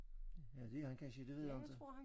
Ja det er han kansje det ved jeg inte